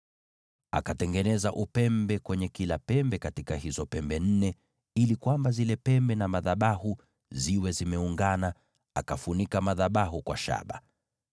Akatengeneza upembe kwenye kila pembe ya hizo pembe nne, ili zile pembe na madhabahu zikawa zimeungana, akafunika madhabahu kwa shaba.